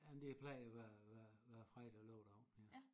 Jamen det plejer at være være være fredag og lørdag aften ja